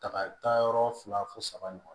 Tagayɔrɔ fila fo saba ɲɔgɔn na